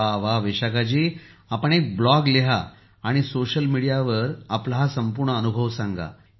प्रधानमंत्री जीः तर विशाखा जी आपण एक ब्लॉग लिहा आणि समाजमाध्यमांवर हा आपला संपूर्ण अनुभव सांगा